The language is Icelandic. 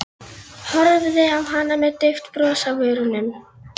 Horfði á hana með dauft bros á vörunum.